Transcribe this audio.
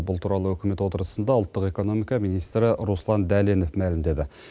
бұл туралы үкімет отырысында ұлттық экономика министрі руслан дәленов мәлімдеді